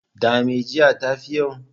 Da me, jiya ta fi yau?